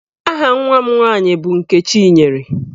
Aha nwa m nwaanyị bụ Nkechinyere.